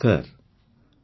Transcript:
ମୋର ପ୍ରିୟ ଦେଶବାସୀଗଣ